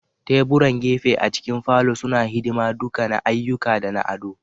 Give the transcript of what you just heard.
Teburan gefe a cikin falon suna hidima duka na ayyuka da na ado.